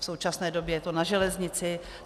V současné době je to na železnici.